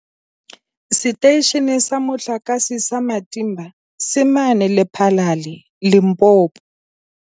Seteishene sa Motlakase sa Matimba se mane Lephalale, Limpopo.